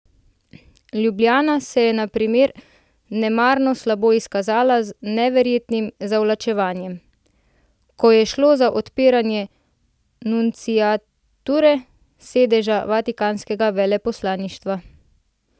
Ljubljana se je na primer nemarno slabo izkazala z neverjetnim zavlačevanjem, ko je šlo za odpiranje nunciature, sedeža vatikanskega veleposlaništva.